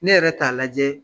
Ne yɛrɛ t'a lajɛ